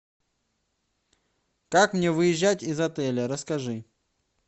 как мне выезжать из отеля расскажи